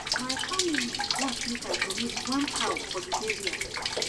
My family want make I donate one cow for di burial.